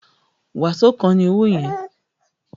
Waṣo kan ni owo yin